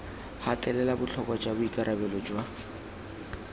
gatelela botlhokwa jwa boikarabelo jwa